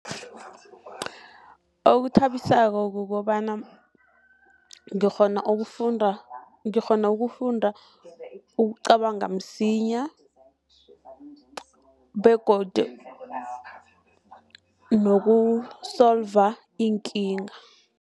Okuthabisako kukobana ngikghona ukufunda, ngikghona ukufunda, ukucabanga msinya begodu noku-solver iinkinga.